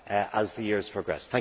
as the years progress.